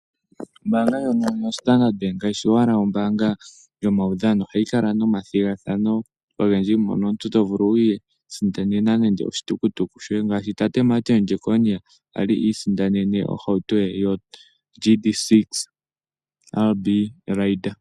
Ombaanga ndjono ya Standard Bank kayishi owala ombaanga yomaudhano, ohayi kala nomathigathano ogendji, mono omuntu tovulu wiisindanena nande oshitukutuku shoye ngaashi tate Martin Jeckonia ngoka Ali isindanene ohauto yoGD-6 RB Raider.